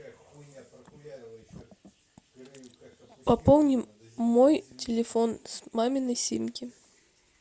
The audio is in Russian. пополни мой телефон с маминой симки